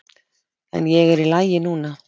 En ég er í lagi núna.